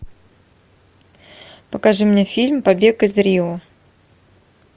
покажи мне фильм побег из рио